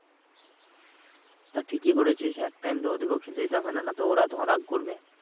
তা ঠিকই করেছিস এক time তো ওদিকেও খেলতে দিতে হবে না। না তো ওরা তখন রাগ করবে।